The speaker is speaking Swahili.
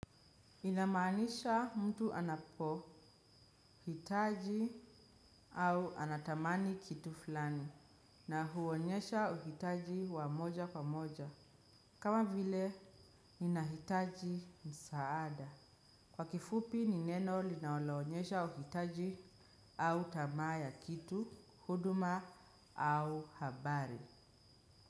Inamaanisha mtu anapohitaji au anatamani kitu fulani, na huonyesha uhitaji wa moja kwa moja. Kama vile, ninahitaji msaada. Kwa kifupi, ni neno linaloonyesha uhitaji au tamaa ya kitu, huduma au habari.